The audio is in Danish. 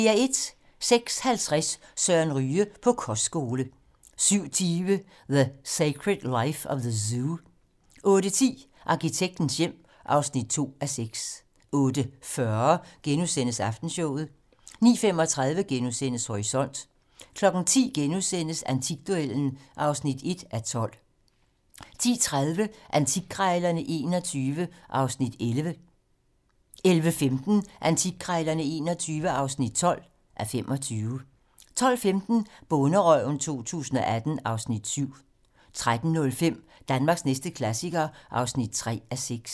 06:50: Søren Ryge: På kostskole 07:20: The Secret Life of the Zoo 08:10: Arkitektens hjem (2:6) 08:40: Aftenshowet * 09:35: Horisont * 10:00: Antikduellen (1:12)* 10:30: Antikkrejlerne XXI (11:25) 11:15: Antikkrejlerne XXI (12:25) 12:15: Bonderøven 2018 (Afs. 7) 13:05: Danmarks næste klassiker (3:6)